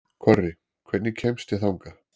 Korri, hvernig kemst ég þangað?